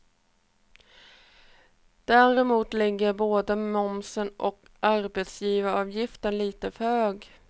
Däremot ligger både momsen och arbetsgivaravgifterna lite för högt.